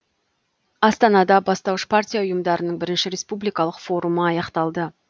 астанада бастауыш партия ұйымдарының бірінші республикалық форумы аяқталды